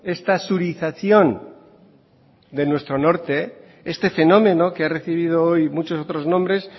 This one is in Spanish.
esta surización de nuestro norte este fenómeno que ha recibido hoy muchos otros nombres